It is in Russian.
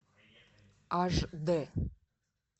аш дэ